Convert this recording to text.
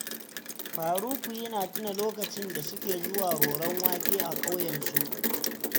Faruku ya tuna lokacin da suke zuwa roron wake a ƙauyensu